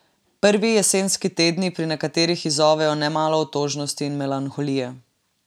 Prvi jesenski tedni pri nekaterih izzovejo nemalo otožnosti in melanholije.